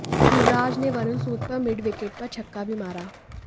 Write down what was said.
युवराज ने वरुण सूद पर mid wicket पर छक्का भी मारा